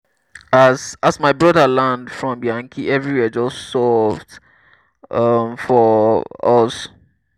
as as my broda land from yankee everywhere just soft um for um us.